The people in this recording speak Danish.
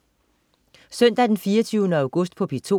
Søndag den 24. august - P2: